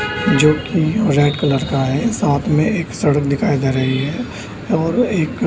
जो की red colour का है साथ में एक सड़क दिखाई दे रही है और एक --